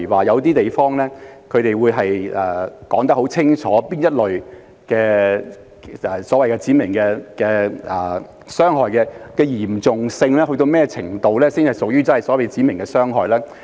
有些地方會很清楚訂明哪一類傷害屬指明傷害，其嚴重性須達到甚麼程度才屬於指明傷害。